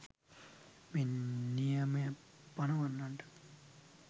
මේ නියමය පනවන්නට